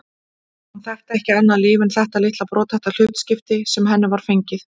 Hún þekkti ekki annað líf en þetta litla brothætta hlutskipti sem henni var fengið.